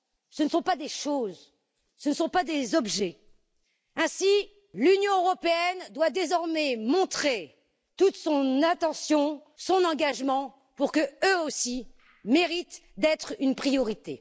ce ne sont pas des choses, ce ne sont pas des objets. Ainsi, l'Union européenne doit désormais leur apporter toute son attention, son engagement, pour qu'eux aussi méritent d'être une priorité.